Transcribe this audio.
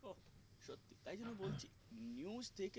তাই জন্যে বলছি news থেকে